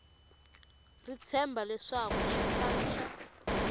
ri tshemba leswaku xipano xa